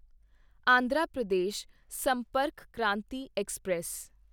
Andhra Pradesh Sampark Kranti express